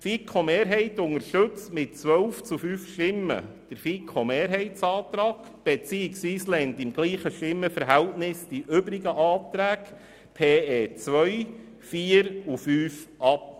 Die Mehrheit der FiKo unterstützt mit 12 zu 5 Stimmen den Antrag der FiKo, beziehungsweise sie lehnt die übrigen Anträge 2, 4 und 5 mit demselben Stimmenverhältnis ab.